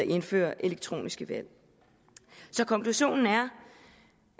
indfører elektroniske valg så konklusionen er